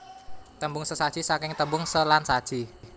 Tembung sesaji saking tembung se lan saji